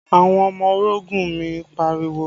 Àwọn ọmọ orogun mi ń pariwo